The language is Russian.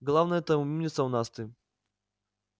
главная-то умница у нас ты